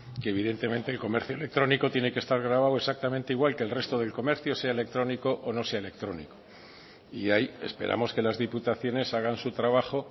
que evidentemente el comercio electrónico tiene que estar gravado exactamente igual que el resto del comercio sea electrónico o no sea electrónico y ahí esperamos que las diputaciones hagan su trabajo